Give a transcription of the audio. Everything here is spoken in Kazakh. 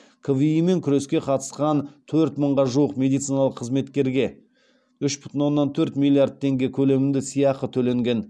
кви мен күреске қатысқан төрт мыңға жуық медициналық қызметкерге үш бүтін оннан төрт миллиард теңге көлемінде сыйақы төленген